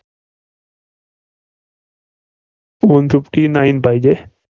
one fifty nine पाहिजे.